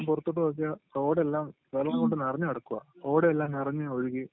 പൊറത്തോട്ട് നോക്കിയാൽ റോഡെല്ലാം വെള്ളം കൊണ്ട് നറഞ്ഞ് കെടക്കുവാ ഓടയെല്ലാം നറഞ്ഞ് ഒഴുകി